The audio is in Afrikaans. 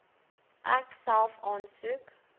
ek self aansoek